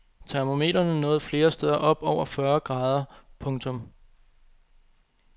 Termometrene nåede flere steder op over fyrre grader¨. punktum